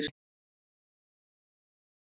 Ég er með samning hjá Fjölni.